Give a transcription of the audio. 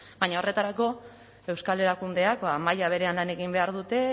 baina horretarako euskal erakundeak maila berean lan egin behar dute